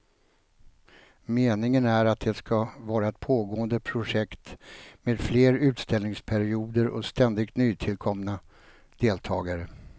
Meningen är att det ska vara ett pågående projekt med fler utställningsperioder och ständigt nytillkomna deltagare.